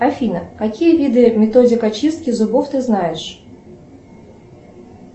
афина какие виды методик очистки зубов ты знаешь